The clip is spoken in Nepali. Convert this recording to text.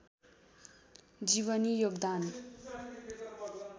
जीवनी योगदान